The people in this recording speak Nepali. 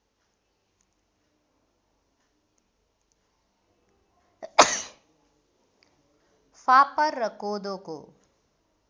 फापर र कोदोको